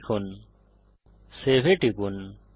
লিখুন সেভ এ টিপুন